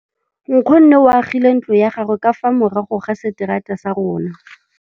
Nkgonne o agile ntlo ya gagwe ka fa morago ga seterata sa rona.